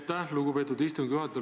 Aitäh, lugupeetud istungi juhataja!